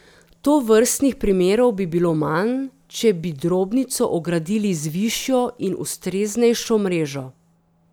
Tovrstnih primerov bi bilo manj, če bi drobnico ogradili z višjo in ustreznejšo mrežo.